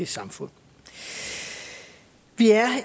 samfund vi er